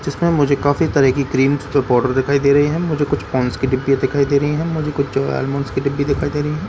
जिसमें मुझे काफी तरह की क्रीम्स फिर पोडर दिखाई दे रही है मुझे कुछ पॉन्स की डिब्बियां दिखाई दे रही है मुझे कुछ जोया एल्मॉन्स की डिब्बी दिखाई दे रही है।